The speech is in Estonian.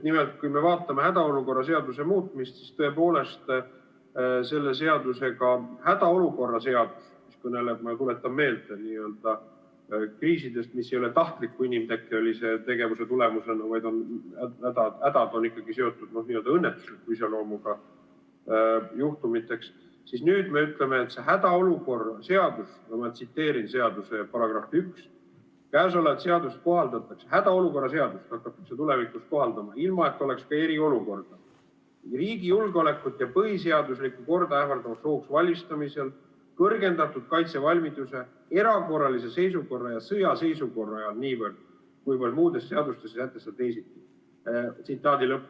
Nimelt, kui me vaatame hädaolukorra seaduse muutmist, siis selle seadusega – hädaolukorra seadus kõneleb, ma tuletan meelde, kriisidest, mis ei ole tahtliku inimtekkelise tegevuse tulemus, vaid hädad on ikkagi seotud n-ö õnnetusliku iseloomuga juhtumitega –, ma tsiteerin seaduse § 1: "Käesolevat seadust kohaldatakse riigi julgeolekut ja põhiseaduslikku korda ähvardavaks ohuks valmistumisel, kõrgendatud kaitsevalmiduse, erakorralise seisukorra ja sõjaseisukorra ajal niivõrd, kuivõrd muudes seadustes ei sätestata teisiti.